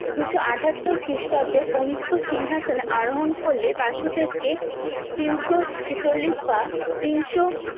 দুশো আটাত্তর খিষ্টাব্দে কনিস্কর সিংহাসন আরোহন করলে বাসুদেব কে তিনশো ছেচল্লিশ বা তিনশো